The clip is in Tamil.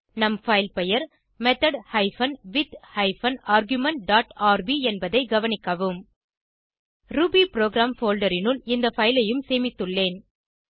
நம் பைல் பெயர் method hyphen with hyphen argument dot R B என்பதை கவனிக்கவும் ரூபிபுரோகிராம் போல்டர் னுள் இந்த பைல் ஐயும் சேமித்துள்ளேன்